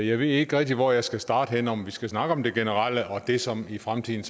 jeg ved ikke rigtig hvor jeg skal starte henne om vi skal snakke om det generelle og om det som i fremtiden